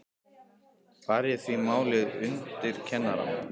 Bar ég því málið undir kennarann.